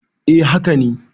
eh haka ne